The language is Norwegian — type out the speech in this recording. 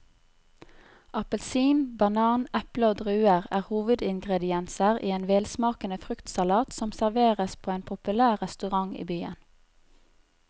Appelsin, banan, eple og druer er hovedingredienser i en velsmakende fruktsalat som serveres på en populær restaurant i byen.